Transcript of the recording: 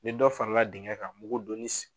Ni dɔ farala digɛn ka mugu donni